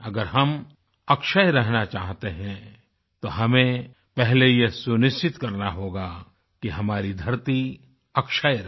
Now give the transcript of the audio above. अगर हम अक्षय रहना चाहते हैं तो हमें पहले यह सुनिश्चित करना होगा कि हमारी धरती अक्षय रहे